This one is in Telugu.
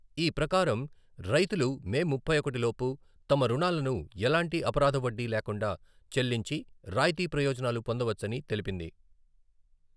ఈ ప్రకారం రైతులు మే ముప్పై ఒకటి లోపు తమ రుణాలను ఎలాంటి అపరాధ వడ్డీ లేకుండా చెల్లించి రాయితీ ప్రయోజనాలు పొందవచ్చని తెలిపింది.